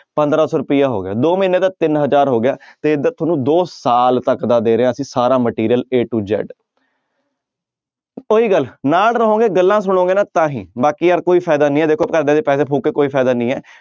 ਪੰਦਰਾਂ ਸੌ ਰੁਪਇਆ ਹੋ ਗਿਆ ਦੋ ਮਹੀਨੇ ਦਾ ਤਿੰਨ ਹਜ਼ਾਰ ਹੋ ਗਿਆ ਤੇ ਇੱਧਰ ਤੁਹਾਨੂੰ ਦੋ ਸਾਲ ਤੱਕ ਦਾ ਦੇ ਰਹੇ ਹਾਂ ਅਸੀਂ ਸਾਰਾ material a to z ਉਹੀ ਗੱਲ ਨਾਲ ਰਹੋਗੇ ਗੱਲਾਂ ਸੁਣੋਗੇ ਨਾ ਤਾਂ ਹੀ ਬਾਕੀ ਯਾਰ ਕੋਈ ਫ਼ਾਇਦਾ ਨੀ ਹੈ ਦੇਖੋ ਘਰਦਿਆਂ ਦੇ ਪੈਸੇ ਫ਼ੂਕ ਕੇ ਕੋਈ ਫ਼ਾਇਦਾ ਨੀ ਹੈ।